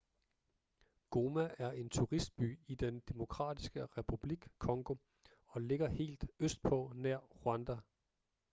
goma er en turistby i den demokratiske republik congo og ligger helt østpå nær rwanda